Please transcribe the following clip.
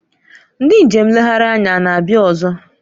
Ndị njem nlegharị anya a na-abịa ọzọ?